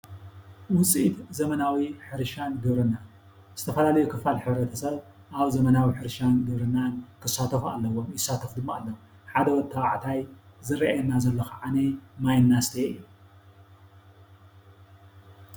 ውፅኢት ዘመናዊ ሕርሻን ግብርናን ዝተፈላለዩ ክፋል ሕብረተሰብ ኣብ ዘመናዊ ሕርሻን ግብርናን ክሳተፉ ኣለዎም ይሳተፉ ድማ ኣለዉ። ሓደ ወዲ ተባዕታይ ዝረኣየና ዘሎ ክዓኒ ማይ እንዳስተየ እዩ።